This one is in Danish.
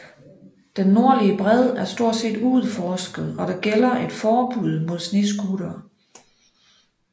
Den nordlige bred er stort set uudforsket og der gælder et forbud mod snescootere